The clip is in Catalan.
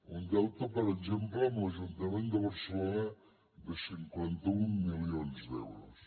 un deute per exemple amb l’ajuntament de barcelona de cinquanta un milions d’euros